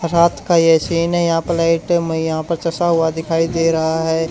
रात का ये सीन है यहां पे लाइट मैं यहां चशा हुआ दिखाई दे रहा है।